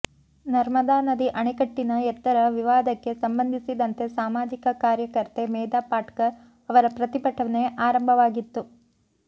ನರ್ಮದಾ ನದಿ ಅಣೆಕಟ್ಟಿನ ಎತ್ತರ ವಿವಾದಕ್ಕೆ ಸಂಬಂಧಿಸಿದಂತೆ ಸಾಮಾಜಿಕ ಕಾರ್ಯಕರ್ತೆ ಮೇಧಾ ಪಾಟ್ಕರ್ ಅವರ ಪ್ರತಿಭಟನೆ ಆರಂಭವಾಗಿತ್ತು